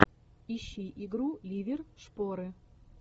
ищи игру ливер шпоры